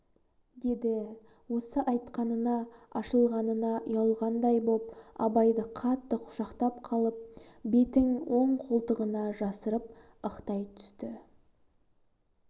деді осы айтқанына ашылғанына ұялғандай боп абайды қатты құшақтап қалып бетің оның қолтығына жасырып ықтай түсті